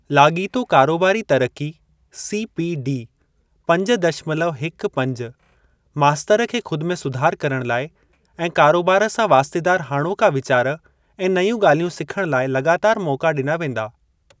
लाॻीतो कारोबारी तरक़ी (सीपीडी) पंज दशमलव हिक पंज मास्तर खे ख़ुदि में सुधार करण लाइ ऐं कारोबार सां वास्तेदार हाणोका वीचार ऐं नयूं ॻाल्हियूं सिखण लाइ लॻातार मौका ॾिना वेंदा।